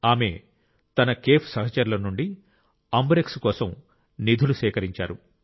ఆమె తన కేఫ్ సహచరుల నుండి అంబురెక్స్ కోసం నిధులు సేకరించారు